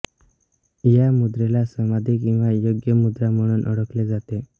या मुद्रेला समाधी किंवा योग्य मुद्रा म्हणून ओळखले जाते